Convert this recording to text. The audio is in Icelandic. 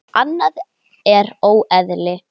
Annað er óeðli.